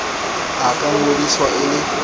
a ka ngodiswa e le